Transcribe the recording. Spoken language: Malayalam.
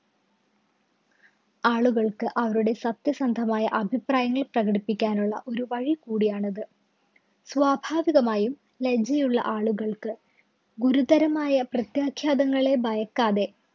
ആളുകള്‍ക്ക് അവരുടെ സത്യസന്ധമായ അഭിപ്രായങ്ങള്‍ പ്രകടിപ്പിക്കാനുള്ള ഒരു വഴി കൂടിയാണത്. സ്വാഭാവികമായും ലജ്ജയുള്ള ആളുകള്‍ക്ക് ഗുരുതരമായ പ്രത്യാഘാതങ്ങളെ ഭയക്കാതെ